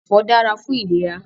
Ẹfọ dára fún ìlera